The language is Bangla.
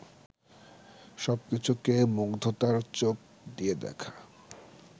সব কিছুকে মুগ্ধতার চোখ দিয়ে দেখা